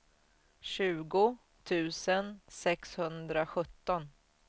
tjugo tusen sexhundrasjutton